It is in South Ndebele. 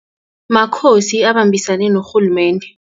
Makhosi abembisene norhulumende.